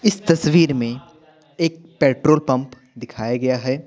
इस तस्वीर में एक पेट्रोल पंप दिखाया गया है ।